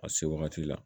A se wagati la